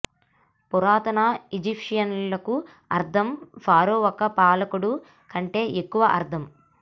పురాతన ఈజిప్షియన్లకు అర్థం ఫారో ఒక పాలకుడు కంటే ఎక్కువ అర్థం